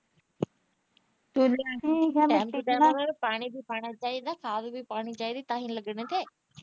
ਪਾਣੀ ਵੀ ਪਾਉਣਾ ਚਾਹੀਦਾ ਖਾਦ ਵੀ ਪਾਉਣੀ ਚਾਹੀਦੀ ਤਾਂ ਹੀ ਲੱਗਣੇ ਕ।